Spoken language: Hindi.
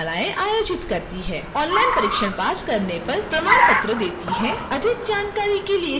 ऑनलाइन परीक्षण पास करने पर प्रमाण पत्र देती है अधिक जानकारी के लिए कृपया हमें लिखें